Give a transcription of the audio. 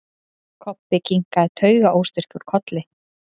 Kobbi kinkaði taugaóstyrkur kolli.